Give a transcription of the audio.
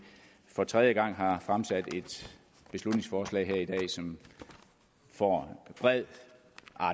for tredje gang har fremsat et beslutningsforslag som får bred